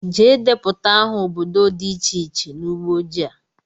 Jee deputa aha ọbọdọ dị iche iche n'ugbó ojii a!!!!